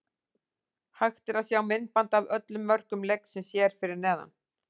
Hægt er að sjá myndband af öllum mörkum leiksins hér fyrir neðan.